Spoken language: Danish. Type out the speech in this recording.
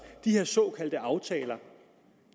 de såkaldte aftaler